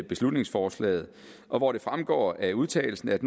beslutningsforslaget og hvor det fremgår af udtalelsen at